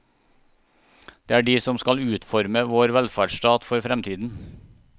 Det er de som skal utforme vår velferdsstat for fremtiden.